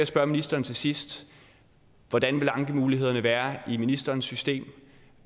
spørge ministeren til sidst hvordan vil ankemulighederne være i ministerens system